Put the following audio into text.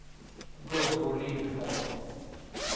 Gunvor Lindholm